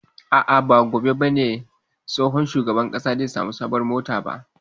A'a, ba gobe ba ne shugaban ƙasa zai sami sabuwar mota ba.